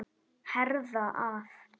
Herða að.